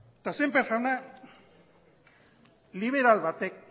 eta sémper jauna liberal batek